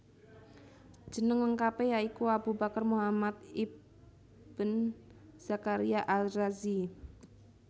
Jeneng lengkapé ya iku Abu Bakar Muhammad ibn Zakaria Al Razi